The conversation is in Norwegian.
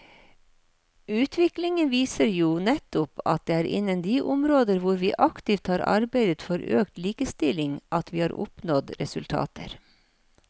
Utviklingen viser jo nettopp at det er innen de områder hvor vi aktivt har arbeidet for økt likestilling at vi har oppnådd resultater.